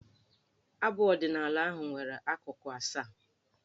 Abụ ọdịnaala ahụ nwere akụkụ asaa.